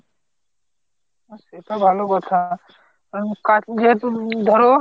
হ্যাঁ সেট ভালো কথা যেহেতু ধরো